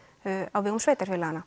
á vegum sveitarfélaganna